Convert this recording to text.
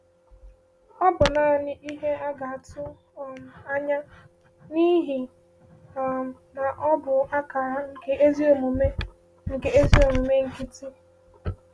“Ọ bụ naanị ihe a ga-atụ um anya, n’ihi um na ọ bụ akara nke ezi omume nke ezi omume nkịtị.”